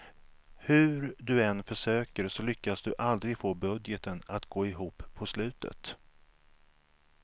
Hur du än försöker så lyckas du aldrig få budgeten att gå ihop på slutet.